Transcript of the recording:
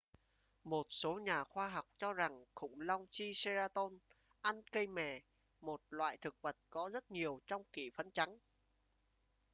một số nhà khoa học cho rằng khủng long triceratop ăn cây mè một loại thực vật có rất nhiều trong kỷ phấn trắng